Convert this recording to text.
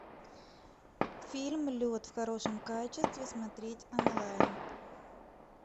фильм лед в хорошем качестве смотреть онлайн